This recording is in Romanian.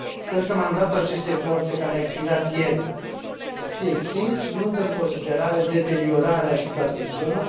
Sper că mandatul acestei forțe care a expirat ieri va fi extins, luând în considerare deteriorarea situației în zonă.